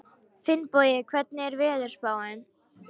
Finnbogi, hvernig er veðurspáin?